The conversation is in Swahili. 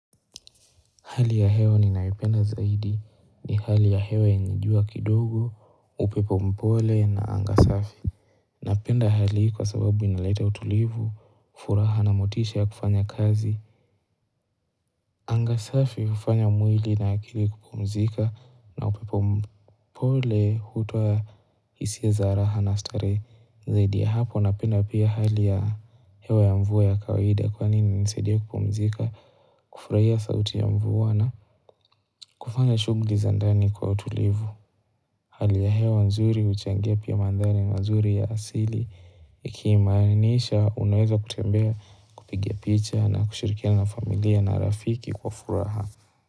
Hali ya hewa ninayoipenda zaidi ni hali ya hewa yenye jua kidogo, upepo mpole na anga safi. Napenda hali hii kwa sababu inaleta utulivu, furaha na motisha ya kufanya kazi. Anga safi hufanya mwili na akili kupumzika na upepo mpole hutoa hisia za raha na starehe zaidi ya hapo napenda pia hali ya hewa ya mvua ya kawaida kwani hunisaidia kupumzika, kufurahia sauti ya mvua na kufanya shughuli za ndani kwa utulivu Hali ya hewa nzuri huchangia pia mandhari nzuri ya asili ikimaanisha unaweza kutembea kupiga picha na kushirikiana na familia na rafiki kwa furaha.